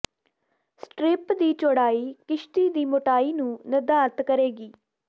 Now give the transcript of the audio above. strip ਦੀ ਚੌੜਾਈ ਕਿਸ਼ਤੀ ਦੀ ਮੋਟਾਈ ਨੂੰ ਨਿਰਧਾਰਤ ਕਰੇਗੀ